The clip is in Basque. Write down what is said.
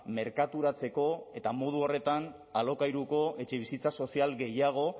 merkaturatzeko eta modu horretan alokairuko etxebizitza sozial gehiago